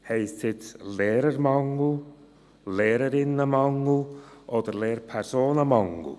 Heisst es jetzt Lehrermangel, LehrerInnenmangel oder Lehrpersonenmangel?